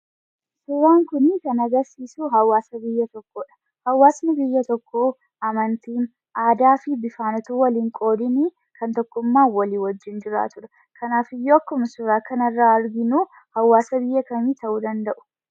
Suuraan kuni kan agarsiisuu, hawaasni biyya tokkoodha. Hawaasni biyya tokkoo amantii, aadaa fi bifaan osoo wal hin qoodiin tokkummaan walii wajjin jiraatudha. Kanaafiyyuu akkauma suuraa kana irraa arginuu, hawaasa biyya kamii ta'uu danda'u